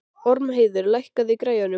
Ormheiður, lækkaðu í græjunum.